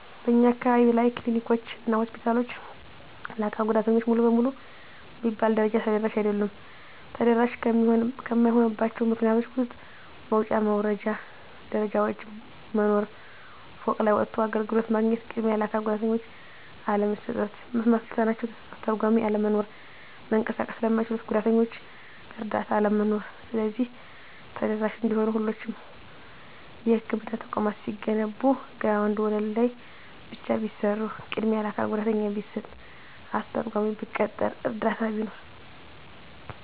በእኛ አካባቢ ያሉ ክሊኒኮች እና ሆስፒታሎች ለአካል ጉዳተኞች ሙሉ በሙሉ በሚባል ደረጃ ተደራሽ አይደሉም። ተደራሽ ከማይሆኑባቸው ምክንያቶች ውስጥ መውጫ መውረጃ ደረጃዎች መኖር፤ ፎቅ ላይ ወጥቶ አገልግሎት ማግኘት፤ ቅድሚያ ለአካል ጉዳተኞች አለመስጠት፤ መስማት ለተሳናቸው አስተርጓሚ አለመኖር፤ መንቀሳቀስ ለማይችሉት ጉዳተኞች እረዳት አለመኖር። ስለዚህ ተደራሽ እንዲሆኑ ሁሎቹም የህክምና ተቋማት ሲገነቡ ግራውንድ ወለል ላይ ብቻ ቢሰሩ፤ ቅድሚያ ለአካል ጉዳተኛ ቢሰጥ፤ አስተርጓሚ ቢቀጠር፤ እረዳት ቢኖር።